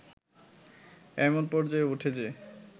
এমন পর্যায়ে ওঠে যে